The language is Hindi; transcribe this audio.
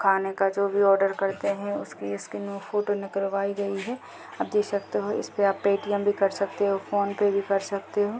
खाने का जो भी ऑर्डर करते हैं उसकी फोटो निकलवाई गई है। आप देख सकते हो इसमें आप पेटीएम भी कर सकते हो फ़ोन पे भी कर सकते हो।